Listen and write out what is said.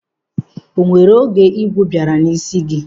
O nwere oge igwu baara n'ísí gị?